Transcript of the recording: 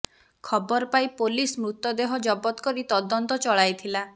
ଖବର ପାଇ ପୋଲିସ ମୃତଦେହ ଜବତ କରି ତଦନ୍ତ ଚଳାଇଥିଲା